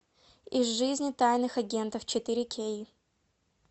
из жизни тайных агентов четыре кей